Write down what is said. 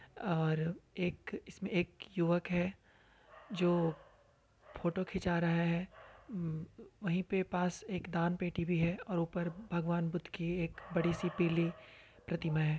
और एक इसमें एक युवक है जो फोटो खींचा रहा है व-वही पे पास एक दान पेटी भी है और ऊपर भगवान बुद्ध की एक बड़ी सी पीली प्रतिमा है।